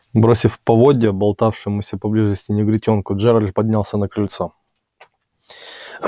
бросив поводья болтавшемуся поблизости негритёнку джералд поднялся на крыльцо